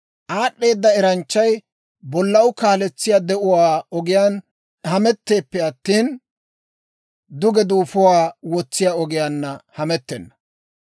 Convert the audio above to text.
Aad'd'eeda eranchchay bollaw kaaletsiyaa de'uwaa ogiyaan hametteeppe attina, duge duufuwaa wotsiyaa ogiyaan hamettenna.